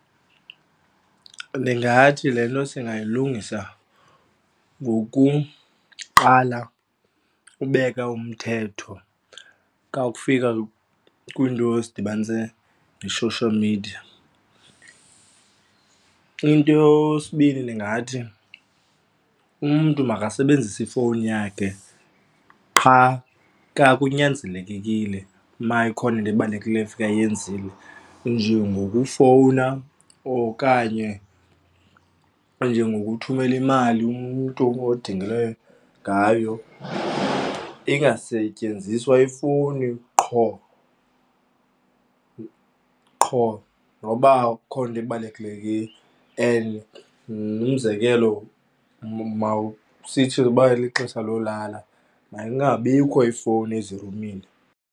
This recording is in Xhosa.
Ndingathi le nto singayilungisa ngokuqala ubeka umthetho kakufika kwiinto ezidibanise ne-social media. Into yesibini ndingathi umntu makasebenzise ifowuni yakhe qha xa kunyanzelekekile uma ikhona into ebalulekileyo efuneka ayenzile. Njengokufowuna okanye njengokuthumela imali, umntu odingileyo ngayo ingasetyenziswa ifowuni qho qho or noba akukho nto ibalulekileyo umzekelo mawusithi uba lixesha lolala makungabikho ifowuni izirumini.